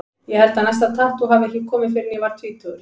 Ég held að næsta tattú hafi ekki komið fyrr en ég var tvítugur.